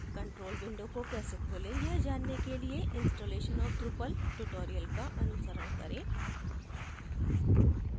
control window को कैसे खोलें यह जानने के लिए installation of drupal tutorial का अनुसरण करें